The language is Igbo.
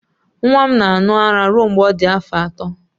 Nwa m na-aṅụ ara ruo mgbe ọ dị afọ ato.